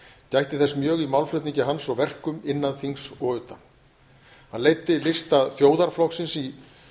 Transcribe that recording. gætti þess mjög í málflutningi hans og verkum innan þings og utan hann leiddi lista þjóðarflokksins í